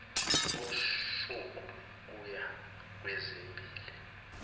usuku kuya kwezimbili